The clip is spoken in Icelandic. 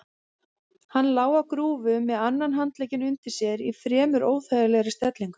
Hann lá á grúfu með annan handlegginn undir sér í fremur óþægilegri stellingu.